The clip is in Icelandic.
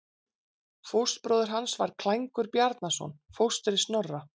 Fóstbróðir hans var Klængur Bjarnason, fóstri Snorra.